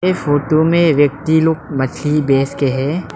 ये फोटो में व्यक्ति लोग मछली बेच के हैं।